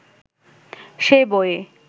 সেই বইয়ে